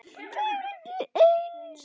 Það er ekki eins.